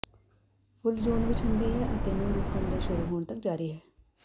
ਫੁੱਲ ਜੂਨ ਵਿਚ ਹੁੰਦੀ ਹੈ ਅਤੇ ਨੂੰ ਰੁਕਣ ਦੇ ਸ਼ੁਰੂ ਹੋਣ ਤੱਕ ਜਾਰੀ ਹੈ